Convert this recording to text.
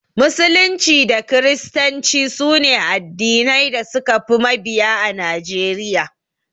Musulunci da kiristanci sune addinai da suka fi mabiya a Najeriya.